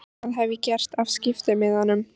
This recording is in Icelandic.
Hvað hef ég gert af skiptimiðanum?